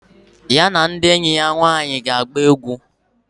Ya na ndi enyi ya nwaanyi ga agba egwu.